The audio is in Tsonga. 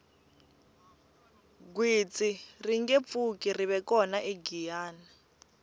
gwitsi ringe pfuki rive kona egiyani